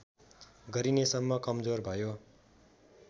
गरिनेसम्म कमजोर भयो